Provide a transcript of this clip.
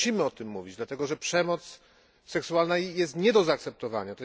Ale musimy o tym mówić, dlatego że przemoc seksualna jest nie do zaakceptowania.